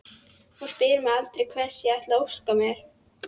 Hún spyr mig aldrei hvers ég ætli að óska mér.